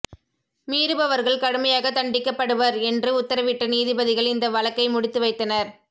மீறுபவர்கள் கடுமையாக தண்டிக்கப்படுவர் என்று உத்தரவிட்ட நீதிபதிகள் இந்த வழக்கை முடித்து வைத்தனர்